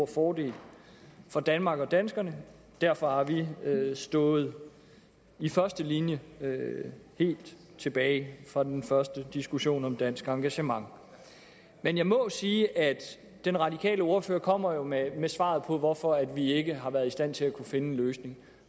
fordel for danmark og danskerne og derfor har vi stået i første linje helt tilbage fra den første diskussion om dansk engagement men jeg må sige at den radikale ordfører jo kommer med svaret på hvorfor vi ikke har været i stand til at finde en løsning